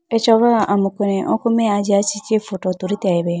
acha wa amuku ne oko me ajiya chee photo tuliteyibe.